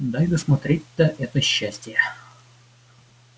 дай досмотреть-то это счастье